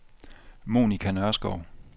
Monica Nørskov